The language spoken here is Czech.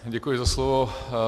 Děkuji za slovo.